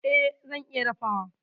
E, zan iya dafawa.